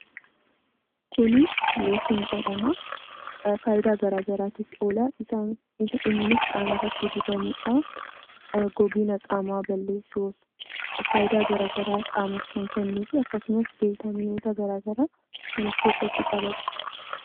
Kun looshinii jedhama. Fayidaa garaagaraatiif oola. Innis qaamarratti dibamuudhaaf, gogiinsa qaamaa balleesuuf fayidaa garaagaraa qaamaaf kennuuf akkasumas vitaaminoota garaagaraa kan of keessatti qabatudha.